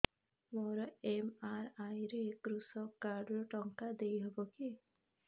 ମୋର ଏମ.ଆର.ଆଇ ରେ କୃଷକ କାର୍ଡ ରୁ ଟଙ୍କା ଦେଇ ହବ କି